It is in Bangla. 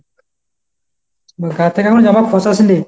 গা থেকে এখনও জমা খোশাস নি?